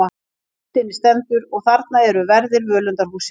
Á myndinni stendur: Og þarna eru verðir völundarhússins.